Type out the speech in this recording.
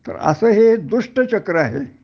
तर असं हे दुष्ट चक्र आहे